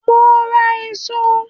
Mo ń rà èso